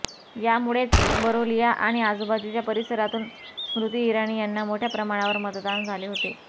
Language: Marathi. यामुळेच बरोलिया आणि आजबाजूच्या परिसरातून स्मृती इराणी यांना मोठ्याप्रमाणावर मतदान झाले होते